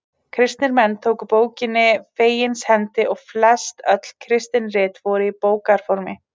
Kristnir menn tóku bókinni fegins hendi og flest öll kristin rit voru í bókarformi.